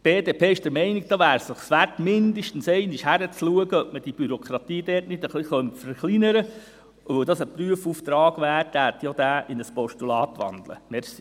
Die BDP ist der Meinung, das wäre es wert, mindestens einmal hinzuschauen, ob man die Bürokratie nicht ein wenig verkleinern könnte, und da es ein Prüfauftrag wäre, würde ich auch diesen in ein Postulat wandeln.